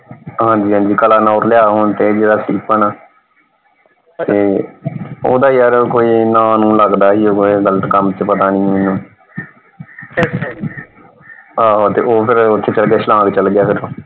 ਹਾਂਜੀ ਹਾਂਜੀ ਕਲਾਨੌਰ ਲਿਆ। ਹੁਣ ਤੇ ਜਿਹੜਾ ਸਟੀਫਨ ਆ ਤੇ ਓਹਦਾ ਯਾਰ ਕੋਈ ਨਾਂ ਨੂੰ ਲਗਦਾ ਸੀ ਇਹੋ ਕੋਈ ਗਲਤ ਕੰਮ ਚ ਪਤਾ ਨਹੀਂ ਮੈਨੂੰ ਆਹੋ ਤੇ ਉਹ ਫੇਰ ਉਹ ਚੱਕਰਾਂ ਚ ਸਵਾਂਗ ਚੱਲ ਗਿਆ ਫੇਰ।